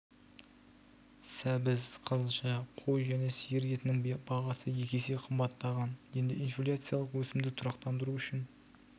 сәбіз қызылша қой және сиыр етінің бағасы екі есе қымбаттаған енді инфляциялық өсімді тұрақтандыру үшін